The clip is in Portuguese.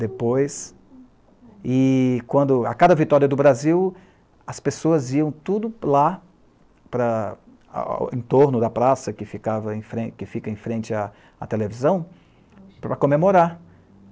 Depois, e quando, a cada vitória do Brasil, as pessoas iam tudo lá, em torno da praça que fica em frente à televisão, para comemorar.